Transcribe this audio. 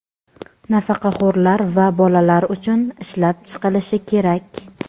nafaqaxo‘rlar va bolalar uchun ishlab chiqilishi kerak.